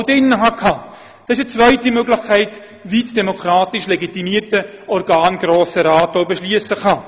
Das ist demnach eine zweite Möglichkeit, wie das demokratisch legitimierte Organ Grosser Rat darüber beschliessen kann.